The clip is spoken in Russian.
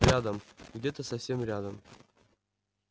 рядом где-то совсем рядом